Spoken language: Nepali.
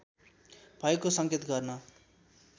भएको संकेत गर्न